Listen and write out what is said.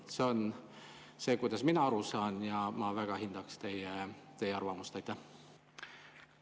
See on see, kuidas mina aru saan, ja ma väga hindaksin teie arvamust.